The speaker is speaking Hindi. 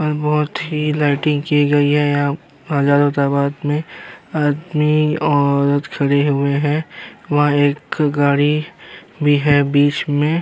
और बोहोत ही लाइटिंग की गई है यहाँ हजारों तादाद मे आदमी औरत खड़े हुए हैं वहां एक गाड़ी भी है बीच में।